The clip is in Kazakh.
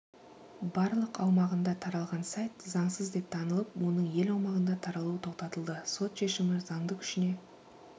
барлық аумағында таралған сайтзаңсыз деп танылып оның ел аумағында таралуы тоқтатылды сот шешімі заңды күшіне